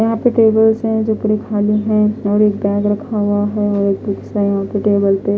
यहाँ पर टेबल्स है जो पूरी थोड़े खाली है और एक बेग रखा हुआ है और वही टेबल पे।